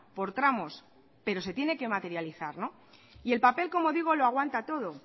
por tramos pero se tiene que materializar y el papel como digo lo aguanta todo